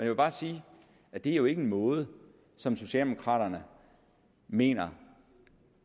vil bare sige at det jo ikke er en måde som socialdemokraterne mener